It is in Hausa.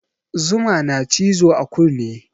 Zuma na cizo a kune